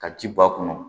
Ka ji b'a kɔnɔ